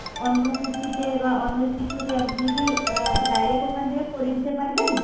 অন্য কুর্তিতে বা অন্য কিছুতে আপনি কি direct আ~ ওখান থেকে করে দিতে পারবেন?